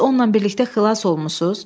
Siz onunla birlikdə xilas olmusuz?